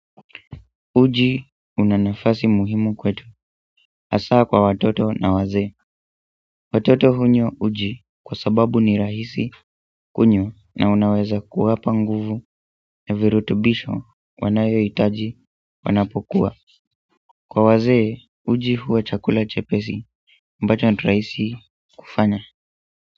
Uji una nafasi muhimu kwetu. Hasaa kwa watoto na wazee. Watoto hunywa uji kwa sababu ni rahisi kunywa na unaweza kuwapa nguvu na virutubisho wanayohitaji wanapokua. Kwa wazee uji huwa chakula chepesi ambacho ni rahisi kufanya.